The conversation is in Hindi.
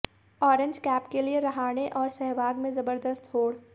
औरेंज कैप के लिए रहाणे और सहवाग में जबरदस्त होड़